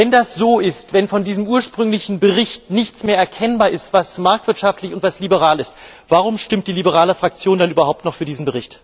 Wenn dem so ist, wenn von diesem ursprünglichen Bericht nichts mehr erkennbar ist, was marktwirtschaftlich und was liberal ist, warum stimmt die Liberale Fraktion dann überhaupt noch für diesen Bericht?